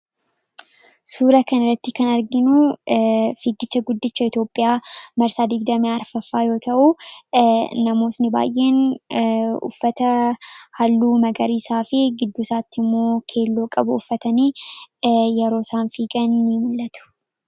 Suura kan irratti kan arginuu figiichaa guddicha Itoophiyaa marsaa 24 faffaa yoo ta'uu namootni baay'een uffata halluu magariisaa fi giddusaatti immoo keelloo qabu uffatanii yeroo isaan fiigan ni mul'atu.